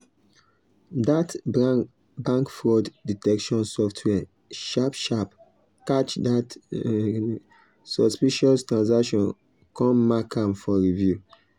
that bank fraud detection software sharp sharp catch that suspicious transaction come mark am for review.